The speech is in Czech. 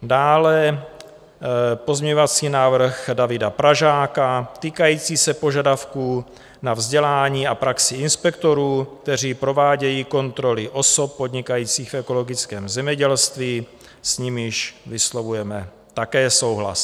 Dále pozměňovací návrh Davida Pražáka týkající se požadavků na vzdělání a praxi inspektorů, kteří provádějí kontroly osob podnikajících v ekologickém zemědělství, s nimiž vyslovujeme také souhlas.